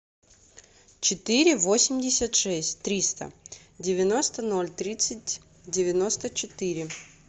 четыре восемьдесят шесть триста девяносто ноль тридцать девяносто четыре